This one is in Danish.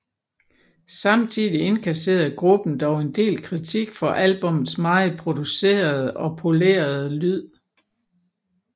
Samtidig inkasserede gruppen dog en del kritik for albummets meget producerede og polerede lyd